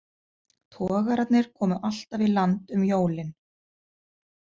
Togararnir komu alltaf í land um jólin.